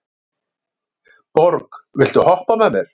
Borg, viltu hoppa með mér?